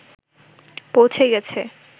পৌঁছে গেছে